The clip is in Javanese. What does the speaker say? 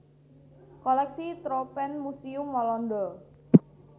Kolèksi Tropenmuseum Walanda